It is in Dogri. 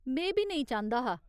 में बी नेईं चांह्दा हा।